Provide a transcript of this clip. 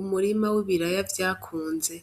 Umurima w'ibiraya vyakunze,